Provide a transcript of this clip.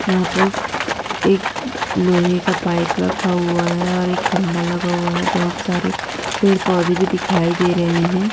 यहा पर एक लोहे का पाइप रखा हुआ है और एक खंबा लगा हुआ है बहुत सारे पेड़ पौधे भी दिखाई दे रहे है।